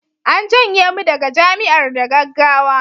an janye mu daga Jami'ar da gaggawa